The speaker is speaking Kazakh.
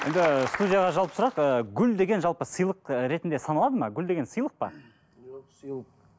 енді студияға жалпы сұрақ ыыы гүл деген жалпы сыйлық ретінде саналады ма гүл деген сыйлық па